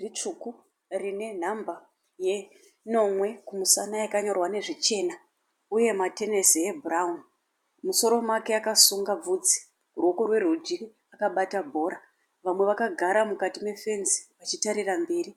ritsvuku rine nhamba yenomwe kumusana yakanyorwa nezvichena uye ane matenesi ebhurauni. Musoro make akasunga bvudzi ruoko rworudyi rwakabata bhora. Vamwe vakagara mukati mefenzi vachitarira mberi.